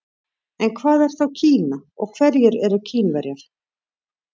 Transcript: En hvað er þá Kína og hverjir eru Kínverjar?